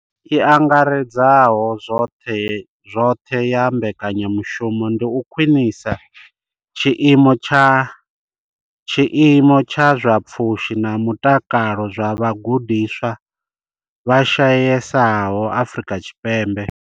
I angaredzaho zwoṱhe ya mbekanya mushumo ndi u khwinisa tshiimo tsha zwa pfushi na mutakalo zwa vhagudiswa vha shayesaho Afrika Tshipembe.